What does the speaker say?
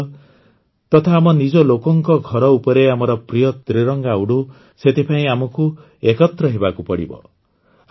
ନିଜ ଘର ତଥା ଆମ ନିଜ ଲୋକଙ୍କ ଘର ଉପରେ ଆମର ପ୍ରିୟ ତ୍ରିରଙ୍ଗା ଉଡୁ ସେଥିପାଇଁ ଆମକୁ ଏକତ୍ର ହେବାକୁ ପଡ଼ିବ